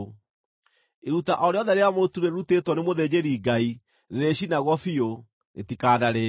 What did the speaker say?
Iruta o rĩothe rĩa mũtu rĩrutĩtwo nĩ mũthĩnjĩri-Ngai rĩrĩcinagwo biũ; rĩtikanarĩĩo.”